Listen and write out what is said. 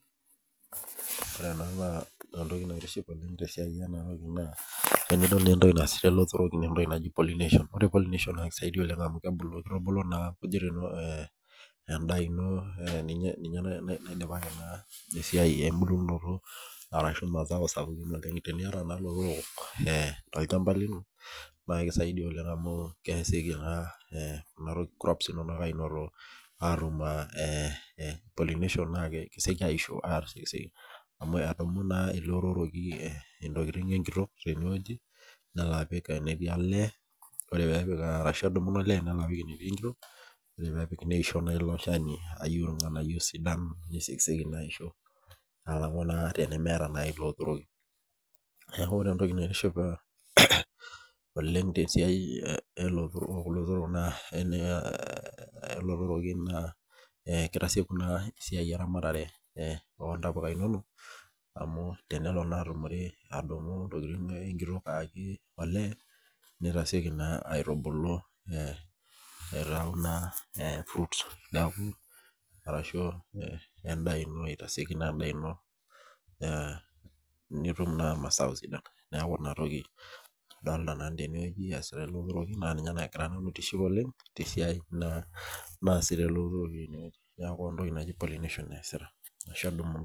Ore ena na entoki naitiship oleng tesiaia enatoki entoki naasishore lotorok na entoki naji pollination na kisho na kisaidia na kitubulu endaa ino ninye esiai embulunoto oleng ashu mazao kumok oleng tenuata lotorok le tolchamba lino na kisaidia naa atum pollination na kesieki aisho amu engamu olotoroki ntokitin enkitok tenewueji nelo apik enetii olee ore petii nolee nenapi apik enetiu enkitok nisho ilo Shani aya ntokitin sidan tenemeeta ilo otoroki neaku ore entoki naitiship olrng tesiai olotoroki na kitasieki esiai eramatare ontapuka inonok amu tenelo atum ntokitin enkitok ayaki olee nitasieku naa aitubulu aitau naa fruits ashu endaa aitasieku endaa nitum mazao sidan neaku ninye nagira aitiship oleng tentoki naasita eleeotoroki tene neaku entoki naji pollination easita